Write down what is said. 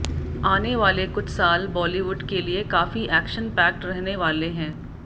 आने वाले कुछ साल बॉलीवुड के लिए काफी एक्शन पैक्ड रहने वाले हैं